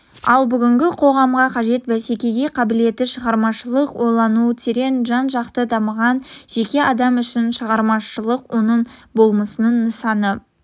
ал бүгінгі қоғамға қажет бәсекеге қабілетті шығармашылық ойлауы терең жан-жақты дамыған жеке адам үшін шығармашылық оның болмысының нысаны